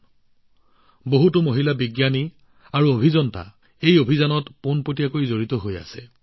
এই সমগ্ৰ অভিযানত বহু মহিলা বিজ্ঞানী আৰু অভিযন্তা প্ৰত্যক্ষভাৱে জড়িত হৈ পৰিছে